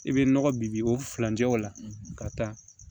I bɛ nɔgɔ bi o furancɛ o la ka taa